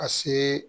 Ka se